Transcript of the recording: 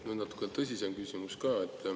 Nüüd natuke tõsisem küsimus ka.